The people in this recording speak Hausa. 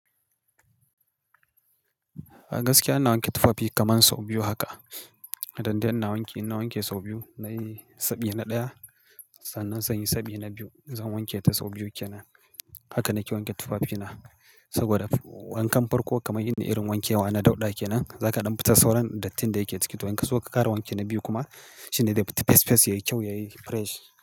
A gaskiya ina wanke tufafi kaman sau biyu haka. IDan dai ina wanke, in na wanke sau biyu. In nayi sabi na ɗaya, sannan sai inyi sabi na biyu. Zan wanke ta sau biyu kenan. Haka nake wanke tufafina saboda wankan farko kaman irin wankewa na dauɗa kenan, zaka ɗan fitar sauran dattin da yake ciki. To in ka so ka ƙara wanke na biyu kuma shine zai fita fesfes yayi kyau, yayi fresh.